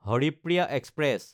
Haripriya express